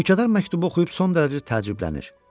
Mülkədar məktubu oxuyub son dərəcə təəccüblənir.